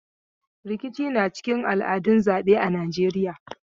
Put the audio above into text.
Rikici na cikin al'adun zaɓe a Najeiya.